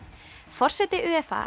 forseti